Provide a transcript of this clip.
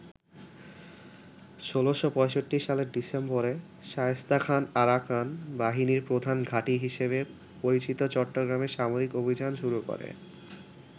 ১৬৬৫ সালের ডিসেম্বরে শায়েস্তা খান আরাকান বাহিনীর প্রধান ঘাঁটি হিসেবে পরিচিত চট্টগ্রামে সামরিক অভিযান শুরু করে।